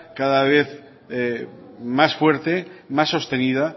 cada vez más fuerte más sostenida